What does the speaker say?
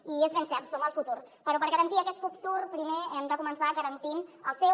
i és ben cert som el futur però per garantir aquest futur primer hem de començar garantint el seu